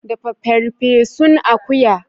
Dafa farfesun akuya.